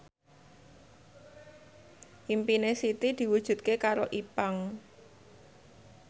impine Siti diwujudke karo Ipank